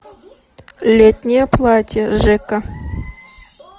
летнее платье жека